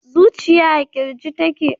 zujiya a kirji take